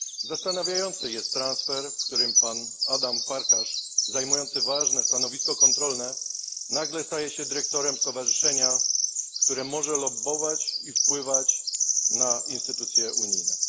Zastanawia transfer polegający na tym, że pan Adam Farkas, zajmujący ważne stanowisko kontrolne, nagle staje się dyrektorem stowarzyszenia, które może lobbować i wpływać na instytucje unijne.